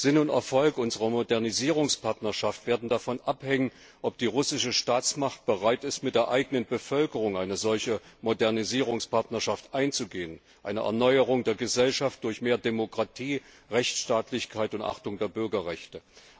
Sinn und Erfolg unserer Modernisierungspartnerschaft werden davon abhängen, ob die russische Staatsmacht bereit ist, mit der eigenen Bevölkerung eine solche Modernisierungspartnerschaft einzugehen, eine Erneuerung der Gesellschaft durch mehr Demokratie, Rechtsstaatlichkeit und Achtung der Bürgerrechte.